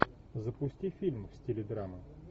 запусти фильм в стиле драма